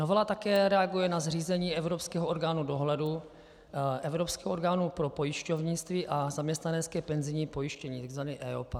Novela také reaguje na zřízení evropského orgánu dohledu, evropského orgánu pro pojišťovnictví a zaměstnanecké penzijní pojištění, tzv. EIOPA.